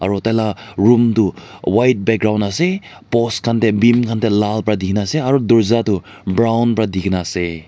aro taila room tu white background ase post khan dey beam khan dey lal ba dina ase aro dorja du brown ba dina ase.